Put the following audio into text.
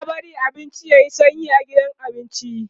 ba'a barin abinci yayi sanyi a gidan abinci